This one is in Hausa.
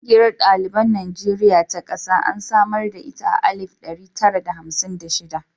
Ƙungiyar ɗaliban Najeriya ta ƙasa an samar da ita a alif ɗari tara da hamsin da shida.